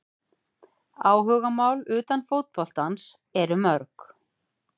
Áhugamál utan fótboltans eru mörg.